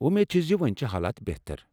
وو٘مید چھٕ زِ وۄنۍ چھےٚ حالات بہتر۔